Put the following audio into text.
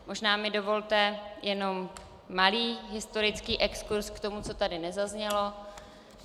Možná mi dovolte jenom malý historický exkurz k tomu, co tady nezaznělo.